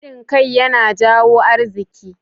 Haɗin kai yana jawo arziki.